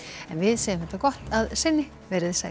en við segjum þetta gott að sinni veriði sæl